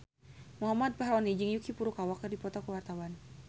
Muhammad Fachroni jeung Yuki Furukawa keur dipoto ku wartawan